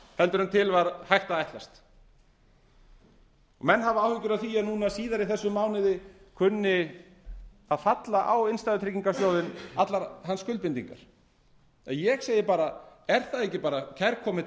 heldur en hægt var að ætlast til menn hafa áhyggjur af því að núna síðar í þessum mánuði kunni að falla á innstæðutryggingarsjóðinn allar hans skuldbindingar en ég segi bara er það ekki kærkomið